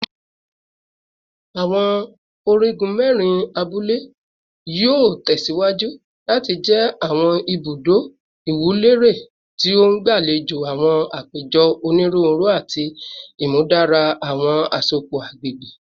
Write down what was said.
Awọn onigun mẹrin abule yoo tẹsiwaju lati jẹ awọn ibudo iwunlere ti o ngbalejo awọn apejọ oniruuru ati imudara awọn asopọ agbegbe